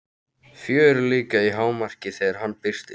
Fjörið líka í hámarki þegar hann birtist.